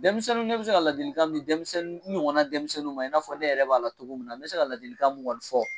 Denmisɛnnu, ne bi se ka ladilikan min di, n ɲɔgɔn na denmisɛnnu ma, i n'a fɔ ne yɛrɛ b'a la cogo min na, n bɛ se ka ladilikan mun ŋɔni fɔ